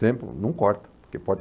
Sempre, não corto. Por que pode